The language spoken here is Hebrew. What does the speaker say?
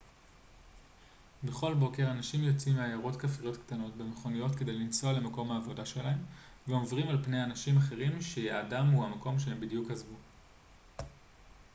בכל בוקר אנשים יוצאים מעיירות כפריות קטנות במכוניות כדי לנסוע למקום העבודה שלהם ועוברים על פני אנשים אחרים שיעדם הוא המקום שהם בדיוק עזבו